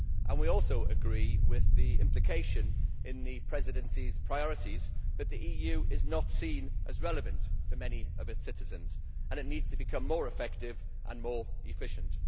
We also agree with the implication in the Presidency's priorities that the EU is not seen as relevant by many of its citizens, and that it needs to become more effective and more efficient.